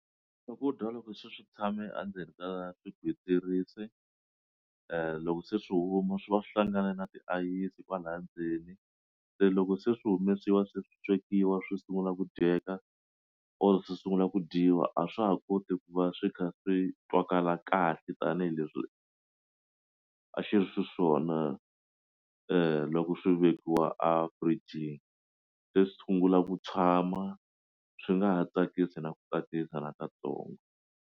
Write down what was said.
Swakudya loko se swi tshame a ndzeni ka swigwitsirisi loko se swi huma swi va swi hlangane na tiayisi kwalaya ndzeni se loko se swi humesiwa se swi swekiwa swi sungula ku dyeka or se sungula ku dyiwa a swa ha koti ku va swi kha swi twakalaka kahle tanihileswi a xi ri swi swona loko swi vekiwa a fridge-ni xo sungula ku tshama swi nga ha tsakisi na ku tsakisa na ka tsongo.